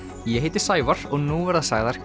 ég heiti Sævar og nú verða sagðar